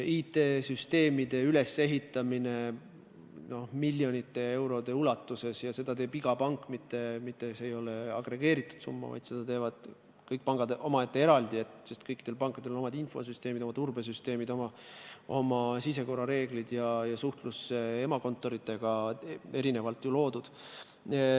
Miljonite eurode eest ehitatakse üles IT-süsteeme ja seda teeb iga pank eraldi – see ei ole agregeeritud summa –, sest kõikidel pankadel on oma infosüsteemid, oma turbesüsteemid, oma sisekorrareeglid ja suhtlus emakontoriga on kõigil isemoodi korraldatud.